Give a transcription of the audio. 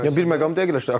Bir məqamı dəqiqləşdirək.